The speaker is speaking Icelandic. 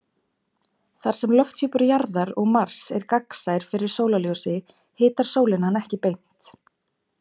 Þar sem lofthjúpur Jarðar og Mars er gagnsær fyrir sólarljósi hitar sólin hann ekki beint.